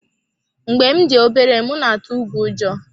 Mgbe m dị obere, m na-atụ ùgwù ụjọ.